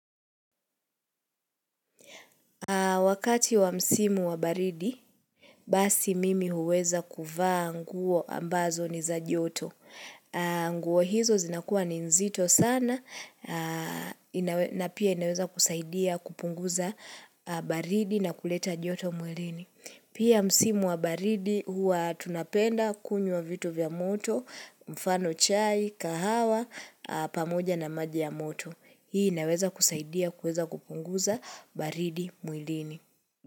Wakati wa msimu wa baridi, basi mimi huweza kuvaa nguo ambazo ni za joto. Nguo hizo zinakuwa ni nzito sana na pia inaweza kusaidia kupunguza baridi na kuleta joto mwilini. Pia msimu wa baridi huwa tunapenda kunywa wa vitu vya moto, mfano chai, kahawa, pamoja na maji ya moto. Hii inaweza kusaidia, kuweza kupunguza baridi mwilini.